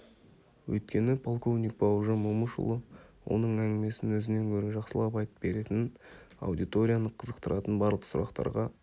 өйткені полковник бауыржан момышұлы оның әңгімесін өзінен гөрі жақсылап айтып беретінін аудиторияны қызықтыратын барлық сұрақтарға